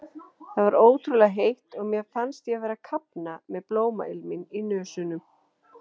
Það var ótrúlega heitt og mér fannst ég vera að kafna með blómailminn í nösunum.